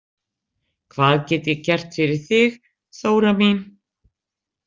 Hvað get ég gert fyrir þig, Þóra mín?